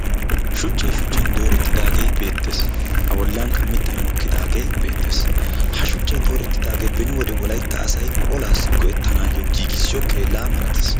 Shucchay shuchchan doorettidaagee beettees. A bollankka mittay mokkidaagee beettees. Ha shuchchay doorettidaagee beni wode olaassi go'ettanaayyo giigissiyo keellaa malatees.